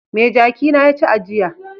Me jaki na ya ci a jiya?